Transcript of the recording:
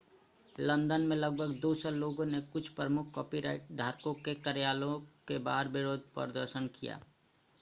London में लगभग 200 लोगों ने कुछ प्रमुख कॉपीराइट धारकों के कार्यालयों के बाहर विरोध प्रदर्शन किया